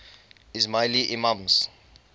ismaili imams